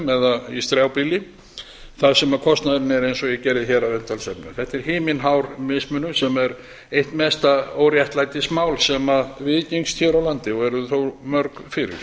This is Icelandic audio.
eða í strjálbýli þar sem kostnaðurinn er eins og ég gerði hér að umtalsefni þetta er himinhár mismunur sem er eitt mesta óréttlætismál sem viðgengst hér á landi og eru þau þó mörg fyrir